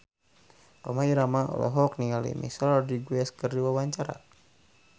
Rhoma Irama olohok ningali Michelle Rodriguez keur diwawancara